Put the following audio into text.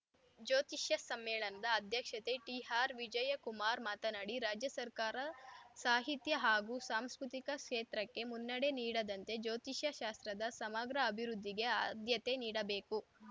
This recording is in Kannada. ಜ್ಯೋತಿಷ್ಯ ಸಮ್ಮೇಳನದ ಅಧ್ಯಕ್ಷತೆ ಟಿಆರ್‌ವಿಜಯಕುಮಾರ್‌ ಮಾತನಾಡಿ ರಾಜ್ಯ ಸರ್ಕಾರ ಸಾಹಿತ್ಯ ಹಾಗೂ ಸಾಂಸ್ಕೃತಿಕ ಕ್ಷೇತ್ರಕ್ಕೆ ಮನ್ನಣೆ ನೀಡಿದಂತೆ ಜ್ಯೋತಿಷ್ಯಶಾಸ್ತ್ರದ ಸಮಗ್ರ ಅಭಿವೃದ್ಧಿಗೆ ಆದ್ಯತೆ ನೀಡಬೇಕು